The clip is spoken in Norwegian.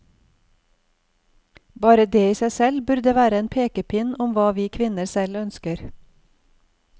Bare det i seg selv burde være en pekepinn om hva vi kvinner selv ønsker.